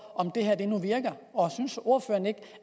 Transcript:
om det her nu virker og synes ordføreren ikke